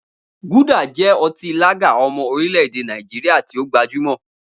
Gulder jẹ́ ọtí lager ọmọ orílẹ̀-èdè Nàìjíríà tí ó gbajúmọ̀.